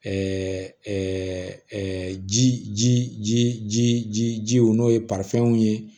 ji ji ji ji ji jiw n'o ye ye